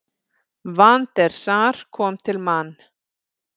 Van der Sar kom til Man.